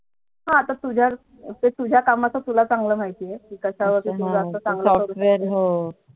हा तर तुझ्या कामच तुला चांगला माहिती आहे कि कश्या software हो